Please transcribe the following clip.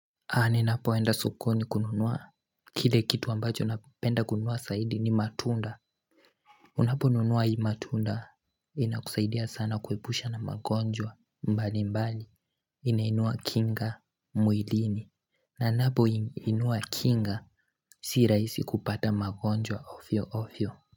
Naninapoenda sokoni kununua kile kitu ambacho napenda kununua zaidi ni matunda Unaponunua hii matunda inakusaidia sana kuepusha na magonjwa mbalimbali inainua kinga mwilini Nainapoinainua kinga siraisi kupata magonjwa ofyo ofyo.